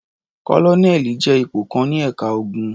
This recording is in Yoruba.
Kólónẹ́ẹ́lì jẹ́ ipò kan ní ẹ̀ka ogun.